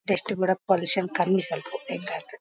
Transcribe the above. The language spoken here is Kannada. ಎಷ್ಟ ಕೂಡ ಪೋಲಿಷ್ ಕಮ್ಮಿ ಸ್ವಲ್ಪ ಹೆಂಗಾದ್ರೂ .